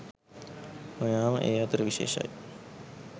නොයාම ඒ අතර විශේෂයි.